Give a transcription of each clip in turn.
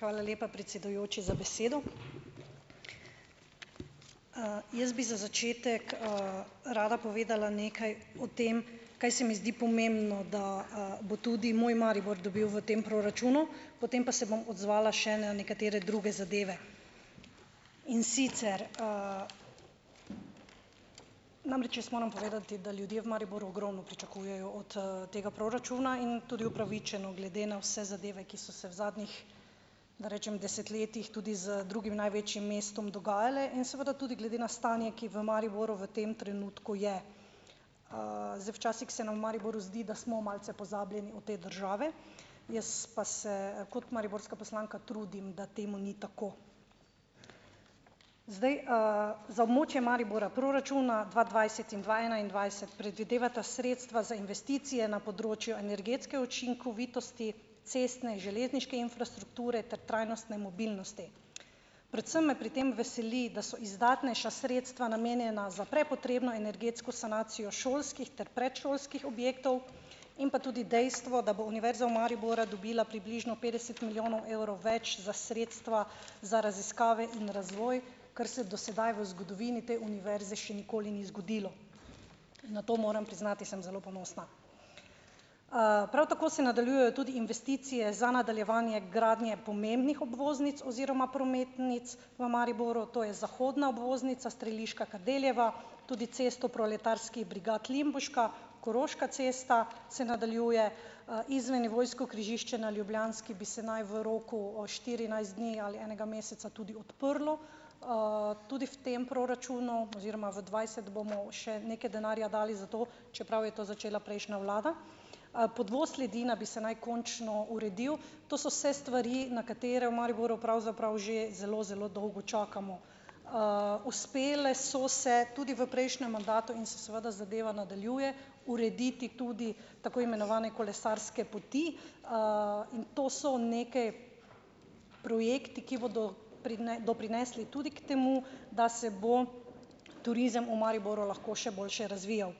Hvala lepa, predsedujoči, za besedo. Jaz bi za začetek rada povedala nekaj o tem, kaj se mi zdi pomembno, da bo tudi moj Maribor dobil v tem proračunu, potem pa se bom odzvala še na nekatere druge zadeve, in sicer namreč jaz moram povedati, da ljudje v Mariboru ogromno pričakujejo od tega proračuna, in tudi upravičeno, glede na vse zadeve, ki so se v zadnjih, da rečem, desetletjih tudi z drugim največjim mestom dogajale, in seveda tudi glede na stanje, ki v Mariboru v tem trenutku je. Zdaj včasih se nam v Mariboru zdi, da smo malce pozabljeni od te države, jaz pa se kot mariborska poslanska trudim, da temu ni tako. Zdaj za območje Maribora proračuna dva dvajset in dva enaindvajset predvidevata sredstva za investicije na področju energetske učinkovitosti, cestne in železniške infrastrukture ter trajnostne mobilnosti. Predvsem me pri tem veseli, da so izdatnejša sredstva namenjena za prepotrebno energetsko sanacijo šolskih ter predšolskih objektov, in pa tudi dejstvo, da bo Univerza v Mariboru dobila približno petdeset milijonov evrov več za sredstva za raziskave in razvoj, kar se do sedaj v zgodovini te univerze še nikoli ni zgodilo, na to, moram priznati, sem zelo ponosna. Prav tako se nadaljujejo tudi investicije za nadaljevanje gradnje pomembnih obvoznic oziroma prometnic v Mariboru, to je zahodna obvoznica Streliška-Kardeljeva, tudi Cesto proletarskih brigad-Limbuška- Koroška cesta se nadaljuje, izvennivojsko križišče na Ljubljanski bi se naj v roku štirinajst dni ali enega meseca tudi odprlo, tudi v tem proračunu oziroma v dvajset bomo še nekaj denarja dali za to, čeprav je to začela prejšnja vlada, podvoz Ledina bi se naj končno uredil, to so se stvari, na katere v Mariboru pravzaprav že zelo, zelo dolgo čakamo, uspele so se tudi v prejšnjem mandatu in se seveda zadeva nadaljuje urediti tudi tako imenovane kolesarske poti, in to so neke projekti, ki bodo doprinesli tudi k temu, da se bo turizem v Mariboru lahko še boljše razvijal.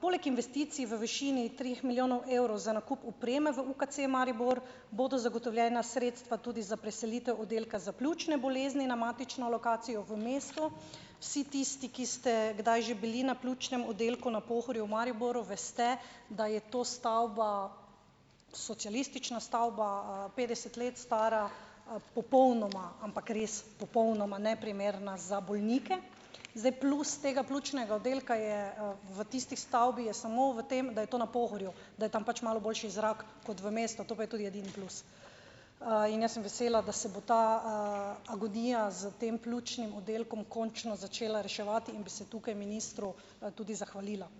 poleg investicij v višini treh milijonov evrov za nakup opreme v UKC Maribor bodo zagotovljena sredstva tudi za preselitev oddelka za pljučne bolezni na matično lokacijo v mestu. Vsi tisti, ki ste kdaj že bili na pljučnem oddelku na Pohorju v Mariboru, veste, da je to stavba, socialistična stavba, petdeset let stara, popolnoma, ampak res popolnoma neprimerna za bolnike, zdaj plus tega pljučnega oddelka je v tisti stavbi je samo v tem, da je to na Pohorju, da tam pač malo boljši zrak kot v mestu, to pa je tudi edini plus. in jaz sem vesela, da se bo ta agonija s tem pljučnim oddelkom končno začela reševati, in bi se tukaj ministru tudi zahvalila.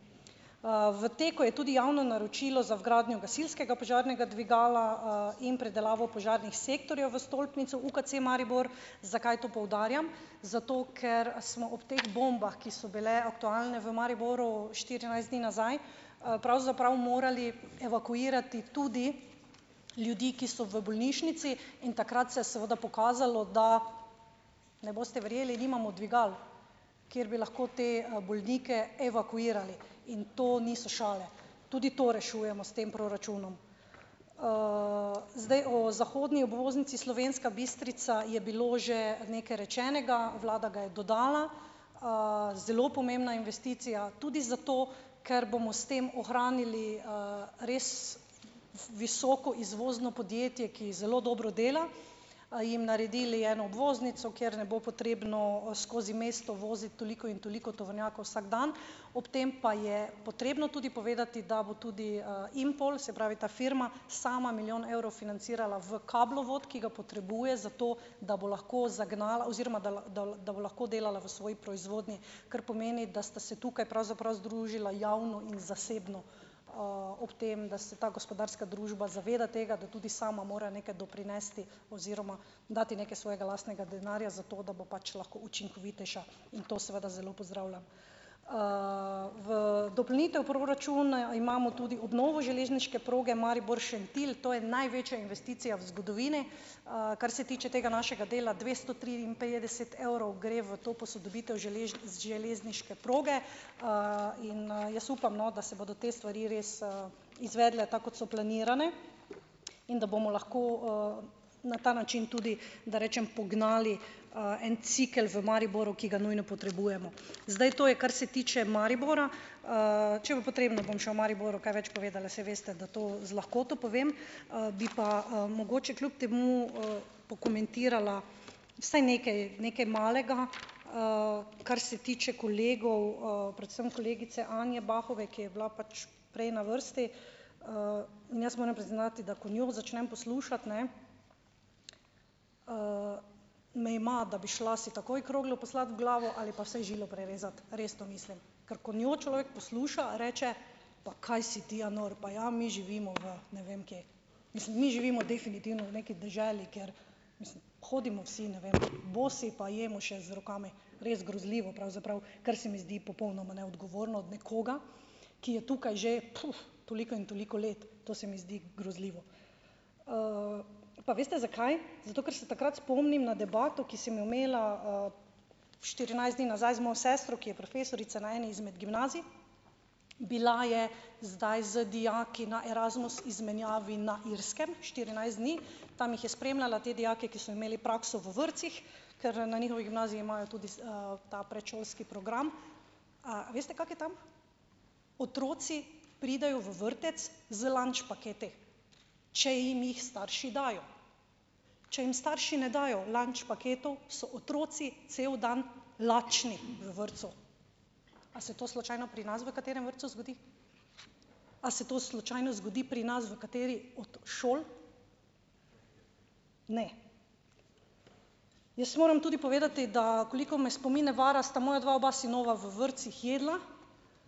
v teku je tudi javno naročilo za vgradnjo gasilskega požarnega dvigala in predelavo požarnih sektorjev v stolpnici UKC Maribor. Zakaj to poudarjam? Zato ker smo ob teh bombah, ki so bile aktualne v Mariboru štirinajst dni nazaj, pravzaprav morali evakuirati tudi ljudi, ki so v bolnišnici, in takrat se je seveda pokazalo, da, ne boste verjeli, nimamo dvigal, kjer bi lahko te bolnike evakuirali, in to niso šale, tudi to rešujemo s tem proračunom. Zdaj o zahodni obvoznici Slovenska Bistrica je bilo že nekaj rečenega, vlada ga je dodala. zelo pomembna investicija tudi zato, ker bomo s tem ohranili res visoko izvozno podjetje, ki zelo dobro dela, jim naredili eno obvoznico, kjer ne bo potrebno skozi mesto voziti toliko in toliko tovornjakov vsak dan, ob tem pa je potrebno povedati, da bo tudi Impol, se pravi ta firma sama, milijon evrov financirala v kablovod, ki ga potrebuje zato, da bo lahko zagnala oziroma da da da lahko delala v svoji proizvodnji, kar pomeni, da sta se tukaj pravzaprav združila javno in zasebno, ob tem, da se ta gospodarska družba zaveda tega, da tudi sama mora nekaj doprinesti oziroma dati nekaj svojega lastnega denarja za to, da bo pač lahko učinkovitejša, in to seveda zelo pozdravljam. V dopolnitev proračuna imamo tudi obnovo železniške proge Maribor-Šentilj, to je največja investicija v zgodovini. kar se tiče tega našega dela, dvesto triinpetdeset evrov, gre v to posodobitev železniške proge, in jaz upam, no, da se bodo te stvari res izvedle tako, kot so planirane, in da bomo lahko na ta način tudi, da rečem, pognali en cikel v Mariboru, ki ga nujno potrebujemo, zdaj to je, kar se tiče Maribora. če bo potrebno, bom še o Mariboru kaj več povedala, saj veste, da to z lahkoto povem, bi pa mogoče kljub temu pokomentirala vsaj nekaj nekaj malega, kar se tiče kolegov, predvsem kolegice Anje Bahove, ki je bila pač prej na vrsti, in jaz moram priznati, da ko njo začnem poslušati, ne, me ima, da bi šla ti takoj kroglo poslat v glavo ali pa vsaj žilo prerezat, resno mislim, ker ko njo človek posluša, reče: "Pa kaj si ti ja nor, pa ja mi živimo v ne vem kje, mislim, mi živimo definitivno v neki deželi, kjer mislim hodimo vsi ne vem bosi pa jemo še z rokami." Res grozljivo pravzaprav, kar se mi zdi popolnoma neodogovorno od nekoga, ki je tukaj že puf toliko in toliko let, to se mi zdi grozljivo, pa veste, zakaj? Zato ker se takrat spomnim na debato, ki sem jo imela štirinajst dni nazaj z mojo sestro, ki je profesorica na eni izmed gimnazij. Bila je zdaj z dijaki na Erasmus izmenjavi na Irskem štirinajst dni, tam jih je spremljala, te dijake, ki so imeli prakso v vrtcih, ker na njihovi gimnaziji imajo tudi s ta predšolski program. A veste, kako je tam? Otroci pridejo v vrtec z lunch paketi, če jim jih starši dajo, če jim starši ne dajo lunch paketov, so otroci cel dan lačni v vrtcu. A se to slučajno pri nas v katerem vrtcu zgodi? A se to slučajno zgodi pri nas v kateri od šol? Ne. Jaz moram tudi povedati, da koliko me spomin ne vara, sta moja dva oba sinova v vrtcih jedla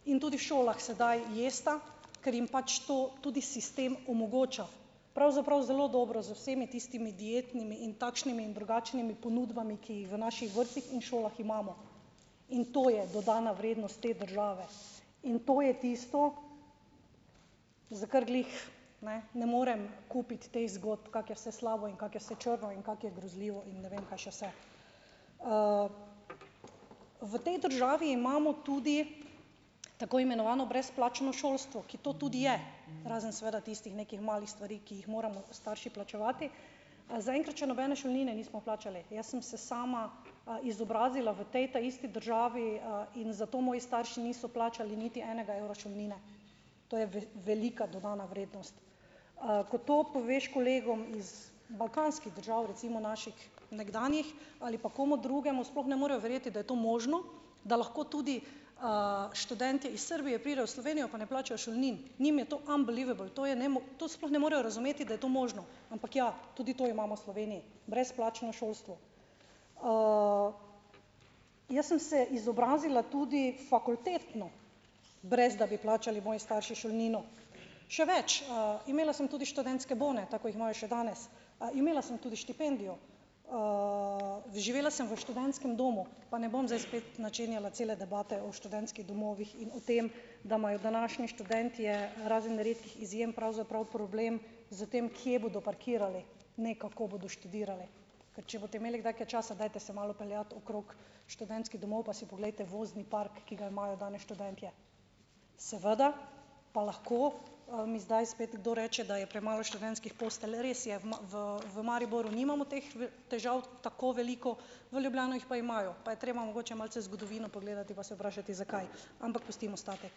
in tudi v šolah sedaj jesta, ker jim pač to tudi sistem omogoča. Pravzaprav zelo dobro z vsemi tistimi dietnimi in takšnimi in drugačnimi ponudbami, ki jih v naših vrtcih in šolah imamo, in to je dodana vrednost te države, in to je tisto, za kar glih, ne, ne morem kupiti teh zgodb, kako je vse slabo in kako je vse črno in kako je grozljivo in ne vem kaj še vse, v tej državi imamo tudi tako imenovano brezplačno šolstvo, ki to tudi je, razen seveda tistih nekih malih stvari, ki jih moramo starši plačevati, zaenkrat še nobene šolnine nismo plačali, jaz sem se sama izobrazila v tej taisti državi in zato moji starši niso plačali niti enega evra šolnine, to je velika dodana vrednost, ko to poveš kolegom iz balkanskih držav, recimo naših nekdanjih, ali pa komu drugemu, sploh ne morejo verjeti, da je to možno, da lahko tudi študentje iz Srbije pride v Slovenijo, pa ne plačajo šolnin, njim je to unbelievable, to je to sploh ne morejo razumeti, da je to možno, ampak, ja, tudi to imamo v Sloveniji, brezplačno šolstvo. Jaz sem se izobrazila tudi fakultetno, brez da bi plačali moji starši šolnino, še več, imela sem tudi študentske bone, tako ko jih imajo še danes, imela sem tudi štipendijo, živela sem v študentskem domu, pa ne bom zdaj spet načenjala cele debate o študentskih domovih in o tem, da imajo današnji študentje razen redkih izjem pravzaprav problem s tem, kje bodo parkirali, ne kako bodo študirali, ker če boste imeli kdaj kaj časa, dajte se malo peljati okrog študentskih domov, pa si poglejte vozni park, ki ga imajo danes študentje, seveda pa lahko mi zdaj spet kdo reče, da je premalo študentskih postelj, res je v v v Mariboru nimamo teh težav tako veliko, v Ljubljano jih pa imajo, pa je treba mogoče malce zgodovino pogledati pa se vprašati, zakaj, ampak pustimo stati.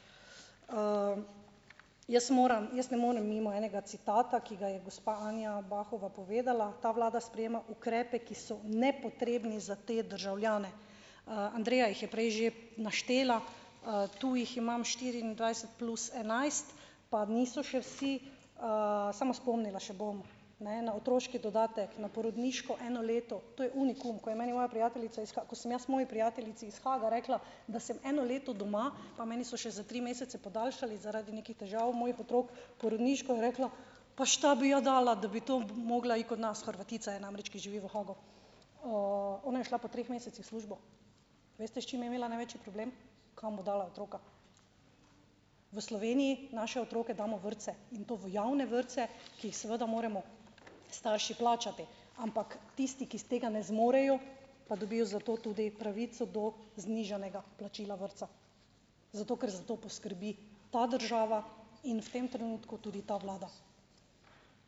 Jaz moram jaz ne morem mimo enega citata, ki ga je gospa Anja Bahova povedala: "Ta vlada sprejema ukrepe, ki so nepotrebni za te državljane." Andreja jih je prej že naštela, tu jih imam štiriindvajset plus enajst pa niso še vsi, samo spomnila še bom, ne, na otroški dodatek, na porodniško eno leto, to je unikum, ko je meni moja prijateljica ko sem jaz moji prijateljici iz Haaga rekla, da sem eno leto doma, pa meni so še tri mesece podaljšali zaradi nekih težav mojih otrok porodniško, je rekla: "Pa šta bi ja dala, da bi to mogla in kod nas." Hrvatica je namreč, ki živi v Haagu, ona je šla po treh mesecih v službo, veste, s čim je imela največji problem? Kam bo dala otroka. V Sloveniji naše otroke damo v vrtce in to v javne vrtce, ki jih seveda moramo starši plačati, ampak tisti, ki tega ne zmorejo, pa dobijo zato tudi pravico do znižanega plačila vrtca, zato ker za to poskrbi ta država, in v tem trenutku tudi ta vlada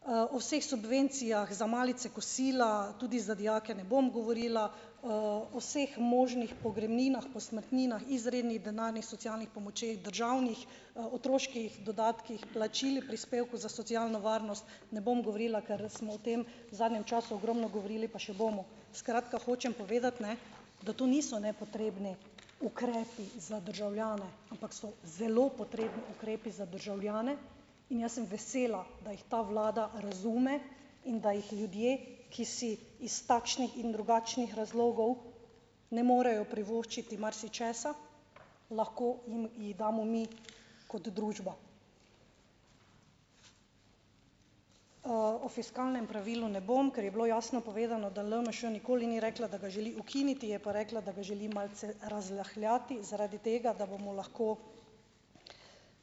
v vseh subvencijah za malice, kosila tudi za dijake, ne bom govorila o vseh možnih pogrebninah, posmrtninah, izrednih denarnih socialnih pomočeh državnih, otroških dodatkih, plačilih prispevkov za socialno varnost, ne bom govorila, ker smo v tem zadnjem času ogromno govorili, pa še bomo, skratka, hočem povedati, ne, da to niso nepotrebni ukrepi za državljane, ampak so zelo potrebni ukrepi za državljane, in jaz sem vesela, da jih ta vlada razume in da jih ljudje, ki si iz takšnih in drugačnih razlogov ne morejo privoščiti marsičesa, lahko jim ji damo mi kot družba. o fiskalnem pravilu ne bom, ker je bilo jasno povedano da LMŠ nikoli ni rekla, da ga želi ukiniti, je pa rekla, da ga želi malce razrahljati zaradi tega, da bomo lahko,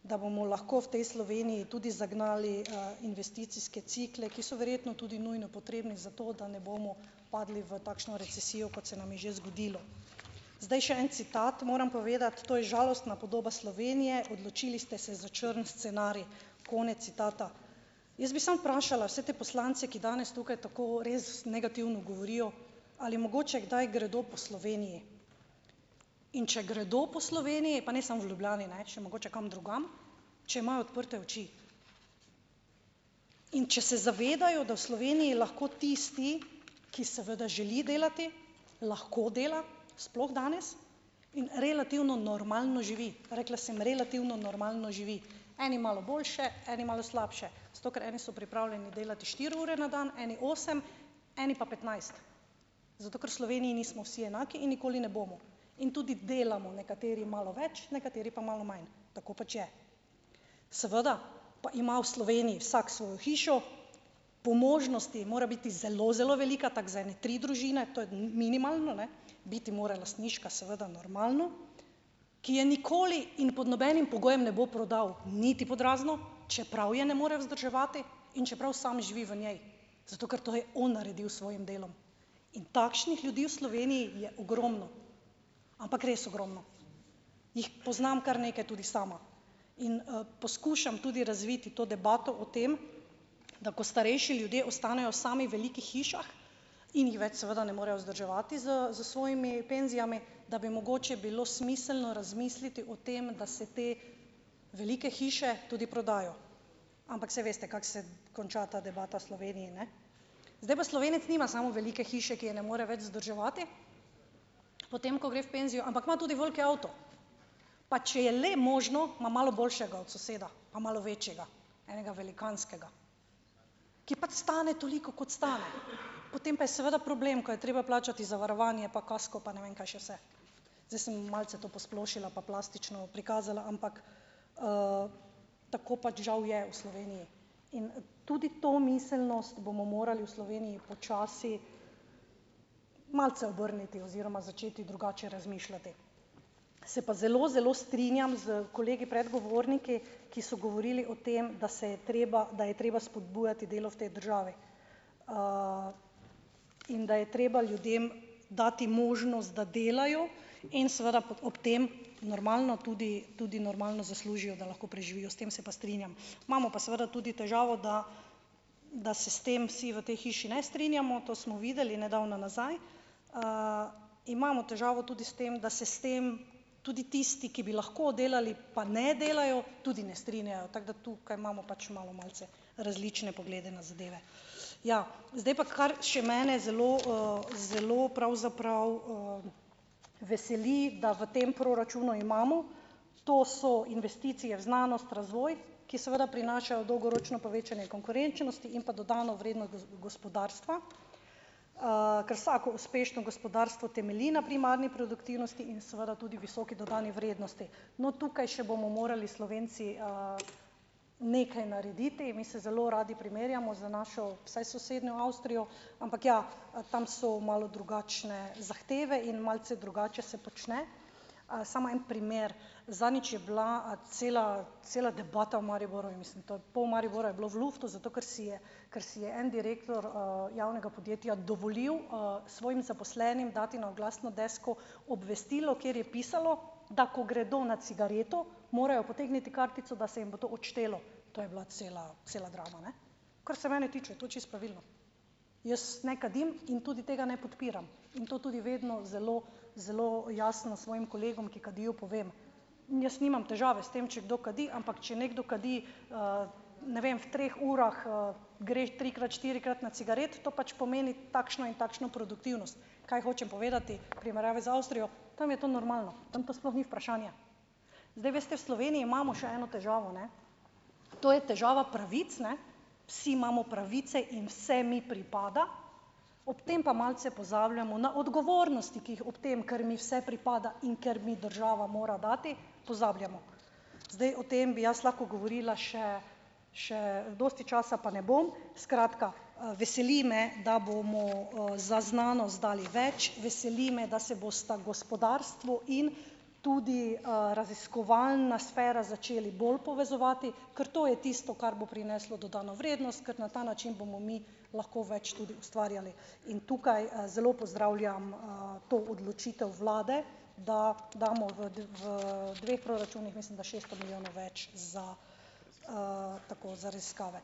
da bomo lahko v tej Sloveniji tudi zagnali investicijske cikle, ki so verjetno tudi nujno potrebni za to, da ne bomo padli v takšno recesijo, kot se nam je že zgodilo, zdaj še en citat moram povedati: "To je žalostna podoba Slovenije, odločili ste se za črn scenarij." Konec citata. Jaz bi samo vprašala vse te poslance, ki danes tukaj tako res negativno govorijo, ali mogoče kdaj gredo po Sloveniji, in če gredo po Sloveniji pa samo v Ljubljani, ne, še mogoče kam drugam, če imajo odprte oči in če se zavedajo, da v Sloveniji lahko tisti, ki seveda želi delati, lahko dela, sploh danes, in relativno normalno živi, rekla sem: "Relativno normalno živi." Eni malo boljše, eni malo slabše, zato ker eni so pripravljeni delati štiri ure na dan, eni osem, eni pa petnajst, zato ker Sloveniji nismo vsi enaki in nikoli ne bomo, in tudi delamo nekateri malo več, nekateri pa malo manj, tako pač je, seveda pa ima v Sloveniji vsak svojo hišo, po možnosti mora biti zelo zelo velika, tako za ene tri družine, to je minimalno, ne, biti mora lastniška seveda, normalno, ki je nikoli in pod nobenim pogojem ne bo prodal niti pod razno, čeprav je ne more vzdrževati in čeprav sam živi v njej, zato ker to je on naredil s svojim delom, in takšnih ljudi v Sloveniji je ogromno, ampak res ogromno, jih poznam kar nekaj tudi sama, in poskušam tudi razviti to debato o tem, da ko starejši ljudje ostanejo sami velikih hišah in jih več seveda ne morejo vzdrževati s s svojimi penzijami, da bi mogoče bilo smiselno razmisliti o tem, da se te velike hiše tudi prodajo, ampak saj veste, kako se konča ta debata v Sloveniji, ne, zdaj pa Slovenec nima samo velike hiše, ki je ne more več vzdrževati, potem ko gre v penzijo, ampak ima tudi veliki avto, pa če je le možno, ima malo boljšega od soseda pa malo večjega, enega velikanskega, ki pač stane toliko, kot stane, potem pa je seveda problem, ko je treba plačati zavarovanje pa kasko pa ne vem kaj še vse, zdaj sem malce to posplošila pa plastično prikazala, ampak tako pač žal je v Sloveniji in tudi to miselnost bomo morali v Sloveniji počasi malce obrniti oziroma začeti drugače razmišljati, se pa zelo zelo strinjam s kolegi predgovorniki, ki so govorili o tem, da se je treba, da je treba spodbujati delo v tej državi in da je treba ljudem dati možnost, da delajo in seveda ob tem normalno tudi tudi normalno zaslužijo, da lahko preživijo s tem, se pa strinjam, imamo pa seveda tudi težavo, da da se s tem vsi v tej hiši ne strinjamo, to smo videli nedavno nazaj, imamo težavo tudi s tem, da se s tem tudi tisti, ki bi lahko delali, pa ne delajo, tudi ne strinjajo, tako da tukaj imamo pač malo malce različne poglede na zadeve, ja, zdaj pa, kar še mene zelo zelo pravzaprav veseli, da v tem proračunu imamo, to so investicije v znanost, razvoj, ki seveda prinašajo dolgoročno povečanje konkurenčnosti in pa dodano vrednost gospodarstva, ker vsako uspešno gospodarstvo temelji na primarni produktivnosti in seveda tudi visoki dodani vrednosti, no, tukaj še bomo morali Slovenci nekaj narediti, mi se zelo radi primerjamo z našo saj sosednjo Avstrijo, ampak ja, tam so malo drugačne zahteve in malce drugače se počne, samo en primer: zadnjič je bila cela cela debata o Mariboru in mislim to pol Maribora je bilo v luftu zato, ker si je kar si je en direktor javnega podjetja dovolil svojim zaposlenim dati na oglasno desko obvestilo, kjer je pisalo, da ko gredo na cigareto, morajo potegniti kartico, da se jim bo to odštelo, to je bila cela cela drama, ne. Kar se mene tiče, je to čisto pravilno, jaz ne kadim in tudi tega ne podpiram in to tudi vedno zelo zelo jasno svojim kolegom, ki kadijo, povem, jaz nimam težave s tem, če kdo kadi, ampak če nekdo kadi, ne vem v treh urah greš trikrat štirikrat na cigaret, to pač pomeni takšno in takšno produktivnost, kaj hočem povedati, v primerjavi z Avstrijo, tam je to to normalno, tam to sploh ni vprašanje, zdaj veste, v Sloveniji imamo še eno težavo, ne, to je težava pravic, ne, vsi imamo pravice in vse mi pripada, ob tem pa malce pozabljamo na odgovornosti, ki jih ob tem, kar mi vse pripada, in ker mi država mora dati, pozabljamo, zdaj o tem bi jaz lahko govorila še še dosti časa, pa ne bom, skratka, veseli me, da bomo za znanost dali več, veseli me, da se bosta gospodarstvo in tudi raziskovalna sfera začeli bolj povezovati, ker to je tisto, kar bo prineslo dodano vrednost, ker na ta način bomo mi lahko več tudi ustvarjali, in tukaj zelo pozdravljam to odločitev vlade, da damo v v dveh proračunih, mislim da, šesto milijonov več za tako za raziskave.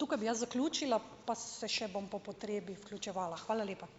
tukaj bi jaz zaključila pa se še bom po potrebi vključevala. Hvala lepa.